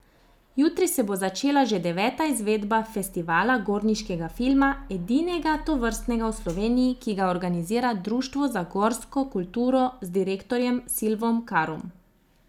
Jutri se bo začela že deveta izvedba festivala gorniškega filma, edinega tovrstnega v Sloveniji, ki ga organizira Društvo za gorsko kulturo z direktorjem Silvom Karom.